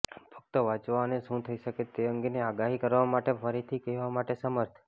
ફક્ત વાંચવા અને શું થઈ શકે તે અંગેની આગાહી કરવા માટે ફરીથી કહેવા માટે સમર્થ